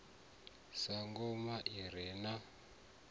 sa ngoma i re na